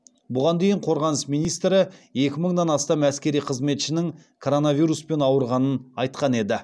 бұған дейін қорғаныс министрі екі мыңнан астам әскери қызметшінің коронавируспен ауырғанын айтқан еді